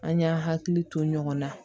An y'an hakili to ɲɔgɔn na